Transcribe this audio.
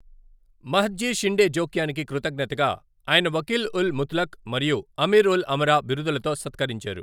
మహద్జీ షిండే జోక్యానికి కృతజ్ఞతగా ఆయన వకీల్ ఉల్ ముత్లక్ మరియు అమీర్ ఉల్ అమరా బిరుదులతో సత్కరించారు.